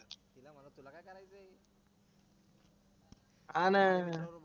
हा ना